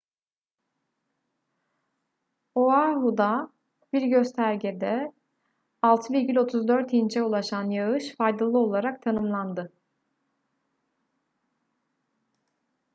oahu'da bir göstergede 6,34 inç'e ulaşan yağış faydalı olarak tanımlandı